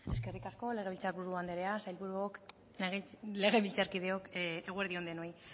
eskerrik asko legebiltzarburu andrea sailburuok legebiltzarkideok eguerdi on denoi